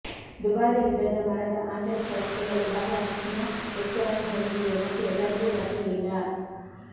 ದುಬಾರಿ ವಿಧದ ಮರದ ಆಂತರಿಕ ವಸ್ತುಗಳು ಬಹಳ ಹೆಚ್ಚಿನ ವೆಚ್ಚವನ್ನು ಹೊಂದಿವೆ ಮತ್ತು ಎಲ್ಲರಿಗೂ ಲಭ್ಯವಿಲ್ಲ